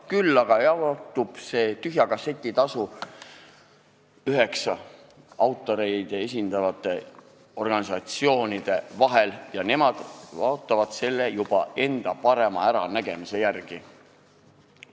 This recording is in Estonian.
Küll aga jaotub see tühja kasseti tasu üheksa autoreid esindava organisatsiooni vahel ja nemad jaotavad selle juba enda parema äranägemise järgi.